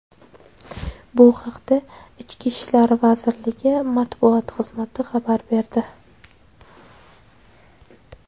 Bu haqda Ichki ishlar vazirligi matbuot markazi xabar berdi .